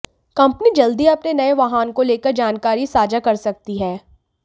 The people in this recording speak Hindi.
कंपनी जल्द ही अपने नए वाहन को लेकर जानकरी साझा कर सकती है